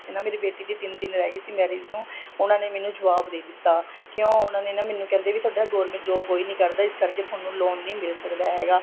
ਨਾ ਮੇਰੀ ਬੇਟੀ ਦੀ ਤਿੰਨ ਦਿਨ ਰਿਹ ਗਏ ਸੀ marriage ਨੂੰ ਉਹਨਾ ਨੇ ਮੈਨੂੰ ਜੁਆਬ ਦੇ ਦਿੱਤਾ ਕਿਉਂ ਉਹਨਾ ਨੇ ਨਾ ਮੈਨੂੰ ਕਹਿੰਦੇ ਤੁਹਾਡਾ government job ਕੋਈ ਨਹੀਂ ਕਰਦਾ ਇਸ ਕਰਕੇ ਤੁਹਾਨੂੰ loan ਨਹੀਂ ਮਿਲ ਸਕਦਾ ਹੈਗਾ